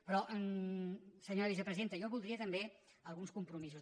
però senyora vicepresidenta jo voldria també alguns compromisos